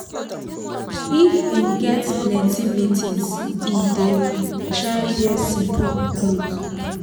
if him get plenty meetings he dey try wear simple clot